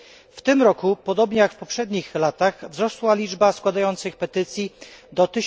W tym roku, podobnie jak w poprzednich latach, wzrosła liczba składających petycje do